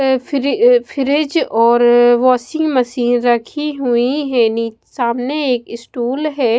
Fridge और washing machine रखी हुई है नी सामने एक स्टूल है।